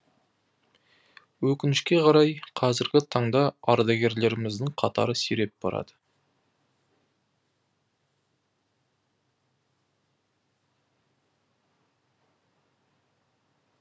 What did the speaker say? өкінішке қарай қазіргі таңда ардагерлеріміздің қатары сиреп барады